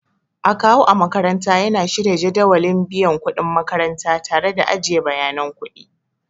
Akawu a makaranta yana shirya jadawalin biyan kuɗin ma'aikata tare da ajiye bayanan kuɗi.